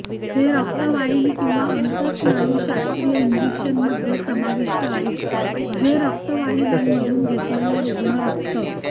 हे रक्तवाहिनी किंवा अंतस्नायुशास्त्रीय इंजेक्शन मध्ये समाविष्ट आहे जे रक्तवाहिन्यांमधून घेतलेले रुग्ण रक्त